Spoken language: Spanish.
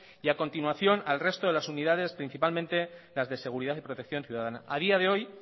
y a continuación al resto de las unidades principalmente las de seguridad y protección ciudadana a día de hoy